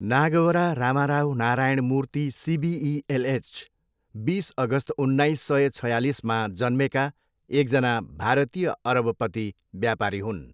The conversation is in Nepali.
नागवरा रामाराव नारायण मूर्ति सिबिई एलएच, बिस अगस्त उन्नाइस सय छयालिसमा जन्मेका एकजना भारतीय अरबपति व्यापारी हुन्।